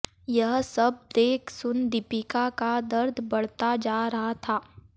यह सब देख सुन दीपिका का दर्द बढ़ता जा रहा था